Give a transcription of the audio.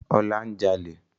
Ọlá ń jalè